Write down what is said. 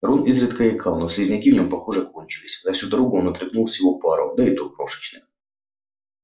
рон изредка икал но слизняки в нем похоже кончились за всю дорогу он отрыгнул всего пару да и то крошечных